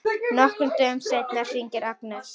Nokkrum dögum seinna hringir Agnes.